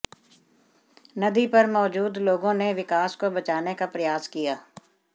नदी पर मौजूद लोगों ने विकास को बचाने का प्रयास किया